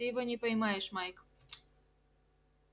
ты его не поймаешь майк